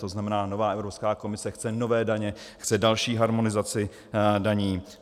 To znamená, nová Evropská komise chce nové daně, chce další harmonizaci daní.